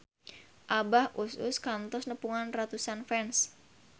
Abah Us Us kantos nepungan ratusan fans